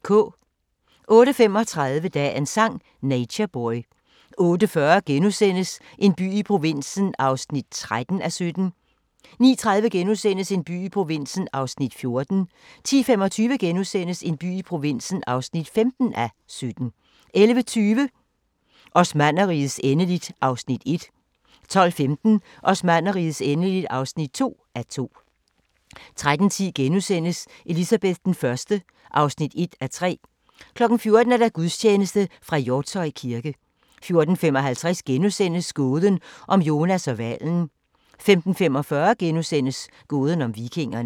08:35: Dagens Sang: Nature Boy 08:40: En by i provinsen (13:17)* 09:30: En by i provinsen (14:17)* 10:25: En by i provinsen (15:17)* 11:20: Osmannerrigets endeligt (1:2) 12:15: Osmannerrigets endeligt (2:2) 13:10: Elizabeth I (1:3)* 14:00: Gudstjeneste fra Hjortshøj kirke 14:55: Gåden om Jonas og hvalen * 15:45: Gåden om vikingerne *